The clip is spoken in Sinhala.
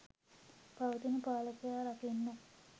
පවතින පාලකයා රකින්න.